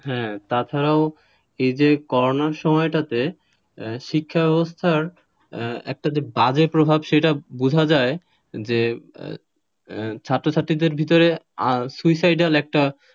হ্যাঁ তাছাড়াও এই যে করোনা সময়টাতে শিক্ষাব্যবস্থার যে একটা বাজে প্রভাব সেটা বোঝা যে যায় ছাত্র-ছাত্রীদের ভেতরে suicidal একটা,